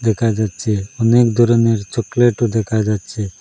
দেখা যাচ্ছে অনেক ধরনের চকলেটও দেখা যাচ্ছে।